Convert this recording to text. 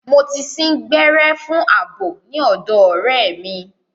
Mo ti sín gbẹ́rẹ́ fún àbò ní ọ̀dọ̀ ọ̀rẹ́ mi.